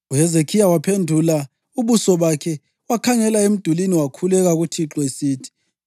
UHezekhiya waphendula ubuso bakhe wakhangela emdulini wakhuleka kuThixo esithi,